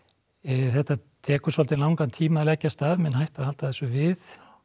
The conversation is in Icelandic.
þetta tekur svolítið langan tíma að leggjast af menn hættu að halda þessu við og